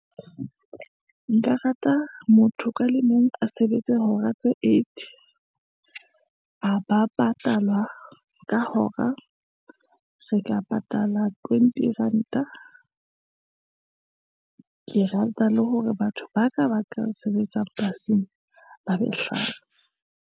Nka rata motho ka le mong a sebetse hora tse eight, a ba patalwa ka hora, re ka ng patala twenty ranta. Ke rata le hore batho ba ka ba ka sebetsa polasing, ba be .